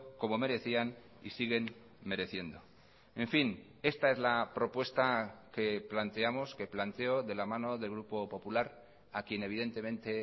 como merecían y siguen mereciendo en fin esta es la propuesta que planteamos que planteo de la mano del grupo popular a quien evidentemente